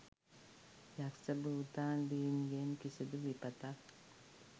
යක්ෂ භූතාදීන්ගෙන් කිසිදු විපතක්